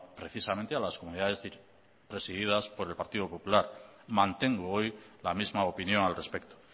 precisamente a las comunidades presididas por el partido popular mantengo hoy la misma opinión al respecto